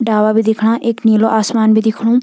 डाला भी दिखणा और एक नीलू आसमान भी दिखणु।